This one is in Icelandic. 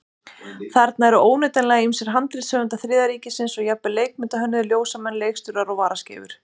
Þarna eru óneitanlega ýmsir handritshöfundar Þriðja ríkisins og jafnvel leikmyndahönnuðir, ljósamenn, leikstjórar og varaskeifur.